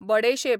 बडेशेप